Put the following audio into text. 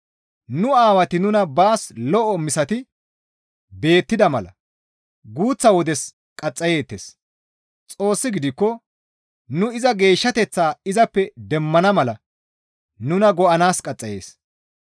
Nu aawati nuna baas lo7o misati beettida mala guuththa wodes qaxxayeettes; Xoossi gidikko nuni iza geeshshateththaa izappe demmana mala nuna go7anaas qaxxayees.